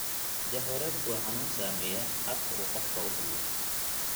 Jahawareerku waa xanuun saameeya habka uu qofku u hadlo.